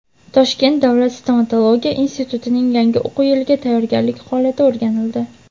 Toshkent davlat stomatologiya institutining yangi o‘quv yiliga tayyorgarlik holati o‘rganildi.